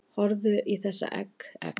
Horfðu í þessa egg, egg